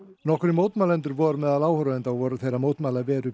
nokkrir mótmælendur voru meðal áhorfenda og voru þeir að mótmæla veru